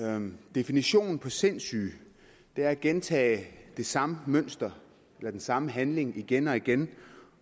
definitionen på sindssyge er at gentage det samme mønster eller den samme handling igen og igen